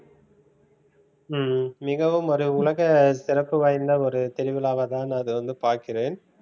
ஹம் மிகவும் ஒரு உலக சிறப்பு வாய்ந்த ஒரு திருவிழாவா தான் அது வந்து பார்க்கிறேன்